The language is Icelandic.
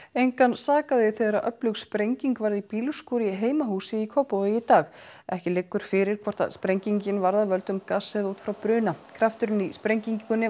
engan sakaði þegar öflug sprenging varð í bílskúr í heimahúsi í Kópavogi í dag ekki liggur fyrir hvort sprengingin var af völdum gass eða út frá bruna krafturinn í sprengingunni